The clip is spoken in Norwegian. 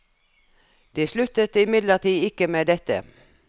De sluttet imidlertid ikke med dette.